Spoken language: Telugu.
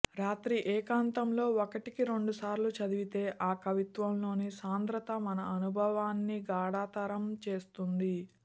రాత్రి ఏకాంతంలో ఒకటికి రెండుసార్లు చదివితే ఆ కవిత్వంలోని సాంద్రత మన అనుభవాన్ని గాఢతరం చేస్తుంది